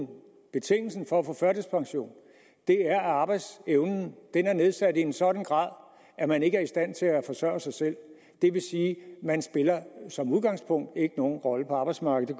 betingelsen for at få førtidspension er at arbejdsevnen er nedsat i en sådan grad at man ikke er i stand til at forsørge sig selv det vil sige at man som udgangspunkt ikke nogen rolle på arbejdsmarkedet